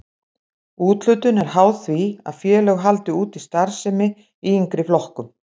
Úthlutun er háð því að félög haldi úti starfsemi í yngri flokkum.